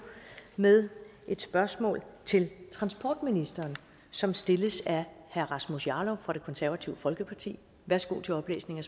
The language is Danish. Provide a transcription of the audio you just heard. med et spørgsmål til transportministeren som stilles af herre rasmus jarlov fra det konservative folkeparti værsgo til oplæsning